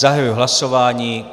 Zahajuji hlasování.